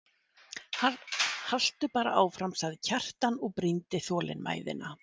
Haltu bara áfram, sagði Kjartan og brýndi þolinmæðina.